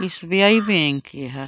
SBI bank ए ह --